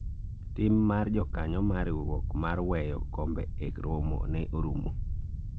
tim mar jokanyo mar riwruok mar weyo kombe e romo ne orumo